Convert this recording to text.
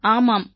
பூனம் ஆமாம்